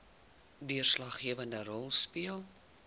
deurslaggewende rol speel